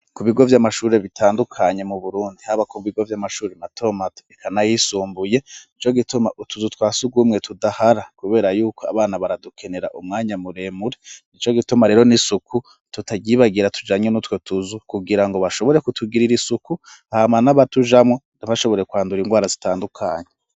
Ku bigo vy'amashuri bitandukanye mu Burundi, haba ku bigo vy'amashuri matomato eka n'ayisumbuye, nico gituma utuzu twa surwumwe tudahara kubera yuko abana baradukenera umwanya muremure. Nico gituma rero n'isuku tutaryibagira tujanye n'utwo tuzu, kugira ngo bashobore kutugirira isuku hama n'abatujamwo, ntibashobore kwandura indwara zitandukanye.